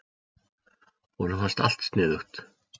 Honum fannst allt sniðugt.